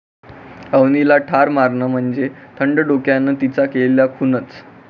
अवनीला ठार मारणं म्हणजे थंड डोक्यानं तिचा केलेला खूनच'